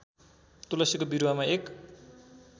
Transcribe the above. तुलसीको बिरुवामा एक